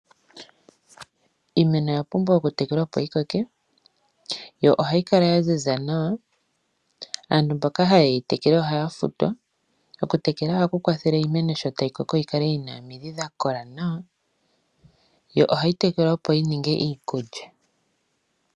Iimeno oya pumbwa okutekelwa opo yi koke. ohayi kala ya ziza nawa. Aantu mboka ha yeyi tekele ohaya futwa. Okutekela ohaku kwathele Iimeno sho tayi koko yikale yina omidhi dha kola nawa yo ohayi tekelwa opo yininge iikulya.